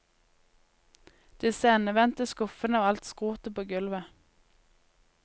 Disse endevendte skuffene og alt skrotet på gulvet.